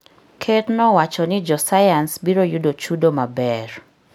Ker nowacho ni josayans biro yudo chudo maber.